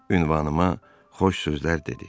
Ünvanıma xoş sözlər dedi.